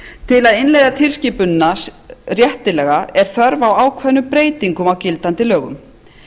til að innleiða tilskipunina réttilega er þörf á ákveðnum breytingum á gildandi lögum